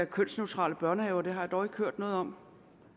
kønsneutrale børnehaver det har jeg dog ikke hørt noget om